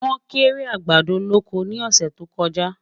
wón kéré àgbàdo lọkọ ní ọsẹ tó kojá